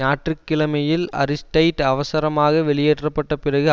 ஞாயிற்றுக்கிழமையில் அரிஸ்டைட் அவசரமாக வெளியேற்ற பட்ட பிறகு